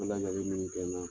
min kɛ n na